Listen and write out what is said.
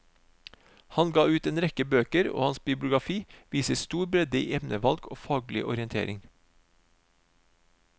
Han ga ut en rekke bøker, og hans bibliografi viser stor bredde i emnevalg og faglig orientering.